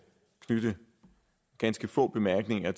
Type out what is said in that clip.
knytte ganske få bemærkninger